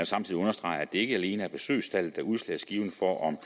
samtidig understrege at det ikke alene er besøgstallet der er udslagsgivende for om